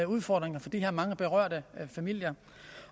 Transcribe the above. udfordringer for de her mange berørte familier